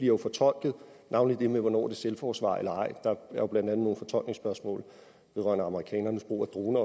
jo fortolket navnlig det med hvornår det er selvforsvar eller ej der er jo blandt andet nogle fortolkningsspørgsmål vedrørende amerikanernes brug af brug af